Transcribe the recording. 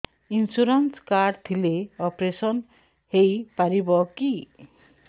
insurance card ଥିଲେ operation ହେଇପାରିବ କି